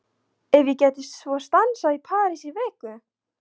Ef ég gæti svo stansað í París í viku?